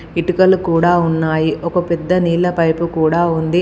ఇటుకలు కూడా ఉన్నాయి ఒక పెద్ద నీళ్ల పైపు కూడా ఉంది.